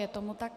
Je tomu tak.